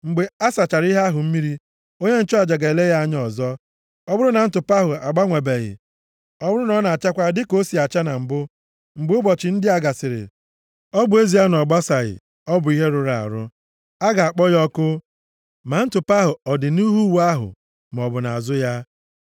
Mgbe a sachara ihe ahụ mmiri, onye nchụaja ga-ele ya anya ọzọ. Ọ bụrụ na ntụpọ ahụ agbanwebeghị, ọ bụrụ na ọ na-achakwa dịka o si acha na mbụ, mgbe ụbọchị ndị a gasịrị, ọ bụ ezie na ọ gbasaghị, ọ bụ ihe rụrụ arụ. A ga-akpọ ya ọkụ, ma ntụpọ ahụ ọ dị nʼihu uwe ahụ maọbụ nʼazụ ya.